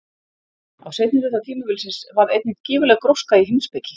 Á seinni hluta tímabilsins varð einnig gífurleg gróska í heimspeki.